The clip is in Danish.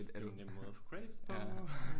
Det er jo en nem måde at få credit på